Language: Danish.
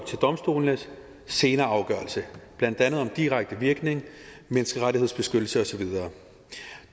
til domstolenes senere afgørelse blandt andet om direkte virkning menneskerettighedsbeskyttelse og så videre